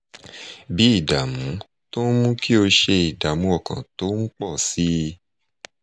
bí ìdààmú tó ń mú kó o ṣe ìdààmú ọkàn tó ń pọ̀ sí i